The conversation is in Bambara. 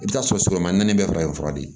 I bɛ t'a sɔrɔ sɔrɔ naani bɛɛ farafin fura di